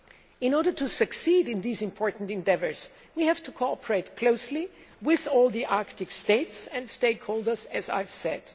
In order to succeed in these important endeavours, we have to cooperate closely with all the Arctic states and Arctic stakeholders, as I have said.